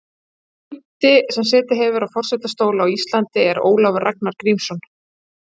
Sá fimmti sem setið hefur á forsetastóli á Íslandi er Ólafur Ragnar Grímsson.